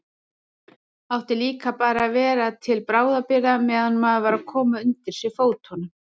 Átti líka bara að vera til bráðabirgða meðan maður var að koma undir sig fótunum.